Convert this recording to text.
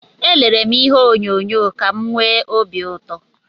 Elere m ihe onyonyo ka m nwee obi ụtọ